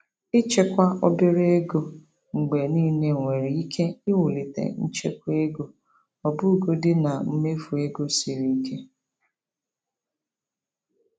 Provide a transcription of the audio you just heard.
Ịchekwa obere ego mgbe niile nwere ike iwulite nchekwa ego ọbụgodi na mmefu ego siri ike.